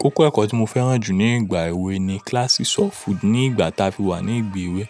Kókó ẹ̀kọ́ tí mo fẹ́ràn jù ní ìgbà èwe ni classes of food. Ní ìgbà táa fi wà ní ìgbèwe.